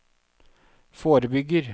forebygger